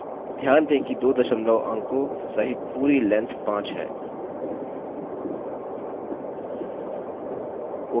ध्यान दें कि दो दशमलव अंको सहित पूरी लैन्थ 5 है